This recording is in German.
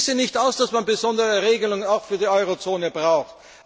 Ich schließe nicht aus, dass man besondere Regelungen für die Eurozone braucht.